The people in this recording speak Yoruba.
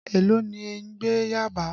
Èló ni ẹ̀ ń gbé Yábàá?.